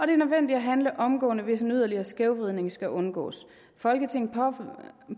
nødvendigt at handle omgående hvis en yderligere skævvridning skal undgås folketinget